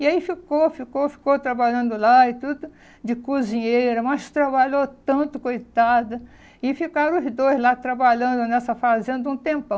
E aí ficou, ficou, ficou trabalhando lá e tudo de cozinheira, mas trabalhou tanto, coitada, e ficaram os dois lá trabalhando nessa fazenda um tempão.